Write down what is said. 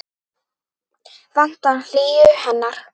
Vantar hlýju hennar.